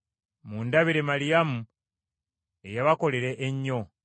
Mundabire Maliyamu eyabakolera ennyo.